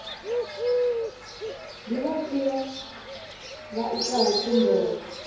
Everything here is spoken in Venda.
ndi vhafhiyo vha itaho khumbelo